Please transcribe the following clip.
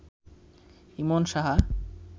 Emon Saha